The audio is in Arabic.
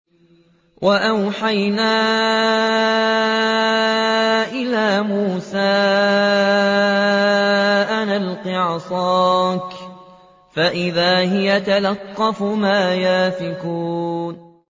۞ وَأَوْحَيْنَا إِلَىٰ مُوسَىٰ أَنْ أَلْقِ عَصَاكَ ۖ فَإِذَا هِيَ تَلْقَفُ مَا يَأْفِكُونَ